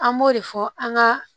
An b'o de fɔ an ka